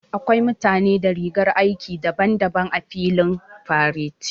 Akwai mutane da rigar aiki daban-daban a filin fareti.